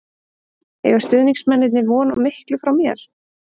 Eiga stuðningsmennirnir von á miklu frá mér?